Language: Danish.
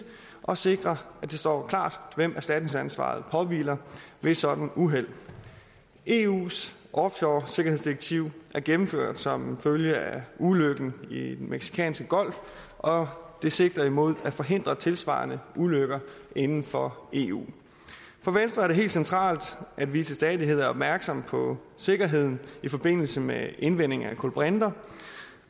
og at sikre at det står klart hvem erstatningsansvaret påhviler ved et sådant uheld eus offshoresikkerhedsdirektiv er gennemført som følge af ulykken i den mexicanske golf og det sigter mod at forhindre tilsvarende ulykker inden for eu for venstre er det helt centralt at vi til stadighed er opmærksomme på sikkerheden i forbindelse med indvinding af kulbrinter